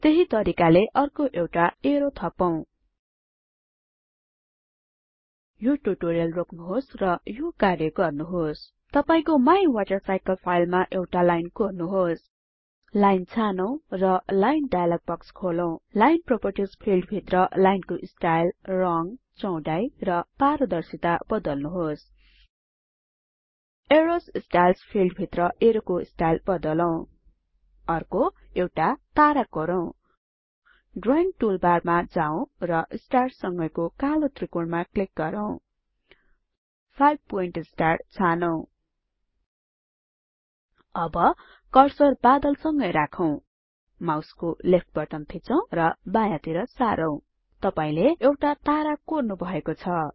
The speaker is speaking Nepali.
त्यहि तरिकाले अर्को एउटा एरो थपौं यो टुटोरियल रोक्नुहोस् र यो कार्य गर्नुहोस् तपाईको माइवाटरसाइकले फाइलमा एउटा लाइन कोर्नुहोस् लाइन छानौं र लाइन डाइलग बक्स खोलौं लाइन प्रोपर्टिज फिल्ड भित्र लाइनको स्टाइल रंग चौडाई र पारदर्शीता बदल्नुहोस अरोव स्टाइल्स फिल्ड भित्र एरोको स्टाइल बदलौं अर्को एउटा तारा कोरौं ड्रइंग टूलबारमा जाऊ र स्टार्स संगैको कालो त्रिकोणमा क्लिक गरौँ 5 पोइन्ट स्टार छानौं अब कर्सर बादल सँगै राखौं माउसको लेफ्ट बटन थिचौं र बायाँतिर सारौँ तपाईले एउटा तारा कोर्नुभएको छ